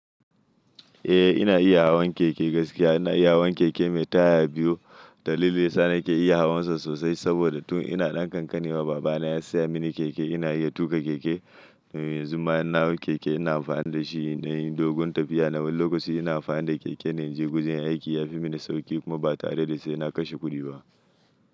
Eh ina iya hawan keke gaskiya. Ina iya hawan keke mai taya biyu. Dalili sa ni ke iya hawansa sosai saboda tun ina ɗan ƙanƙani ma baba na ya saya mini keke. Ina iya tuƙa keke. Yanzu ma inna hau keke ina amfani da shi inɗan yi dogon tafiya. Nawar lokaci ina amfani da keke na in je gujen aiki. Yafi mini sauƙi kuma ba tare da sai na kashe kuɗi ba.